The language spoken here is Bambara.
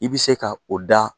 I bɛ se ka o da